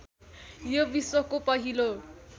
यो विश्वको पहिलो